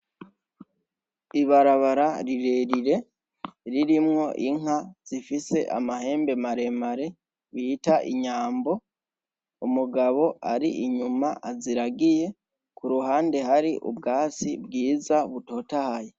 Ibarabara rirerire irimwo inka zifise amahembe maremare bita inyambo, umugabo ari inyuma aziragiye kuruhande har'ubwatsi bwiza butotahaye.